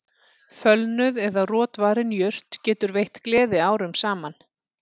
Fölnuð eða rotvarin jurt getur veitt gleði árum saman